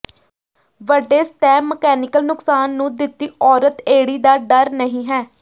ਵੱਡੇ ਸਤਹ ਮਕੈਨੀਕਲ ਨੁਕਸਾਨ ਨੂੰ ਦਿੱਤੀ ਔਰਤ ਏੜੀ ਦਾ ਡਰ ਨਹੀ ਹੈ